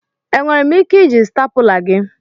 Enwere m ike iji stapula gi?